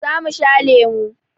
Za mu sha lemu.